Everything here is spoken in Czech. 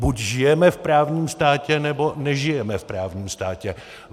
Buď žijeme v právním státě, nebo nežijeme v právním státě.